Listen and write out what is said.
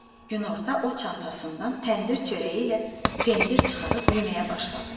Günorta o çantasından təndir çörəyi ilə pendir çıxarıb yeməyə başladı.